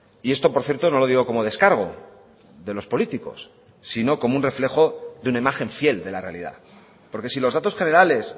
y esto por cierto no lo digo como descargo de los políticos sino como un reflejo de una imagen fiel de la realidad porque si los datos generales